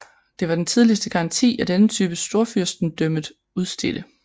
Det var den tidligste garanti af denne type storfyrstendømmet udstedte